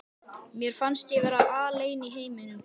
Mér fannst ég vera alein í heiminum.